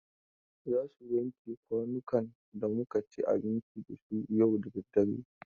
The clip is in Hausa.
Za su wanke kwanukan da muka ci abinci da su yau da dare.